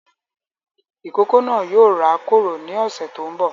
Ìkókó náà yóò rá kòrò ni ọsẹ tó ń bọ̀